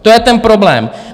To je ten problém.